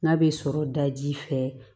N'a bɛ sɔrɔ daji fɛ